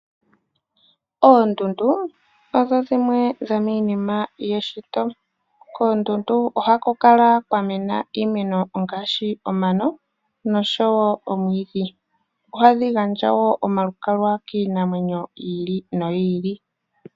Oondundu dho dhimwe dho miinima yomeshito . Koondundu ohaku kala kwamena iimeno ngaashi omano noshowo omwiidhi. Ohadhi gandja wo oma lukalwa kiinamwenyo yi ili noyi ili .